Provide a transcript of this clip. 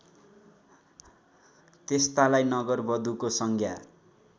त्यस्तालाई नगरवधुको संज्ञा